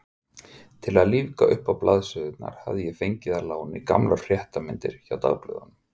Til að lífga uppá blaðsíðurnar hafði ég fengið að láni gamlar fréttamyndir hjá dagblöðunum.